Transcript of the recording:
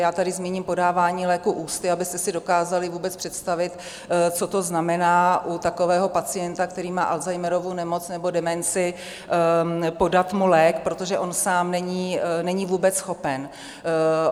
Já tady zmíním podávání léků ústy, abyste si dokázali vůbec představit, co to znamená u takového pacienta, který má Alzheimerovu nemoc nebo demenci, podat mu lék, protože on sám není vůbec schopen.